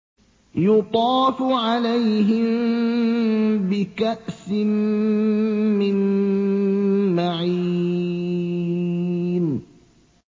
يُطَافُ عَلَيْهِم بِكَأْسٍ مِّن مَّعِينٍ